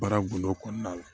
Baara gundo kɔnɔna la